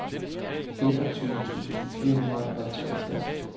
enogtyve tusind fire hundrede og treogtres